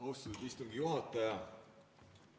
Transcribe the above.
Austatud istungi juhataja!